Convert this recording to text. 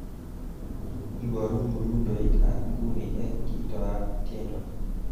Iborun mdundoitab nguni eng kitoab tiendo